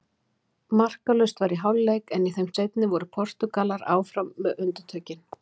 Markalaust var í hálfleik en í þeim seinni voru Portúgalar áfram með undirtökin.